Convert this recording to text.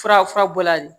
Fura fura bɔla de ye